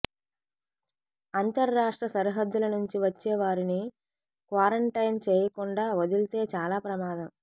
అంతర్రాష్ట్ర సరిహద్దుల నుంచి వచ్చేవారిని క్వారంటైన్ చేయకుండా వదిలితే చాలా ప్రమాదం